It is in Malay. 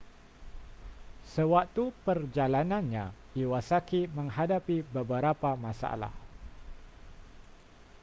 sewaktu perjalanannya iwasaki menghadapi beberapa masalah